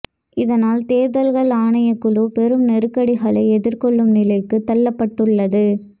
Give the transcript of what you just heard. இதனால் தேர்தல்கள் ஆணைக்குழு பெரும் நெருக்கடிகளை எதிர்கொள்ளும் நிலைக்கு தள்ளப்பட்டுள்ளது